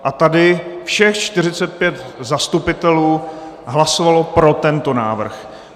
A tady všech 45 zastupitelů hlasovalo pro tento návrh.